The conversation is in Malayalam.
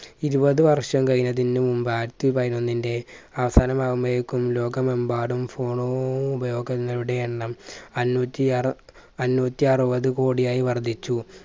ഇരുപത് വർഷം കഴിയുന്നതിന് മുമ്പ് ആയിരത്തി പതിനൊന്നിന്റെ അവസാനമാവുമ്പോയേക്കും ലോകമെമ്പാടും phone ഓ ഉപയോഗങ്ങളുടെ എണ്ണം അഞ്ഞൂറ്റി അറു അഞ്ഞൂറ്റി അറുപത് കോടിയായ് വർദ്ധിച്ചു